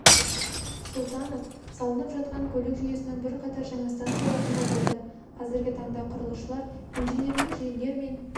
сұлтанов салынып жатқан көлік жүйесінің бірқатар жаңа станцияларында болды қазіргі таңда құрылысшылар инженерлік желілер мен